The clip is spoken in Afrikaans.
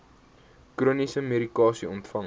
chroniese medikasie ontvang